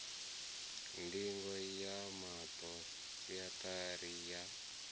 ndingo ya maṱo sentharani ya